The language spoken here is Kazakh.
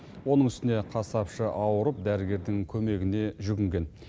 оның үстіне қасапшы ауырып дәрігердің көмегіне жүгінген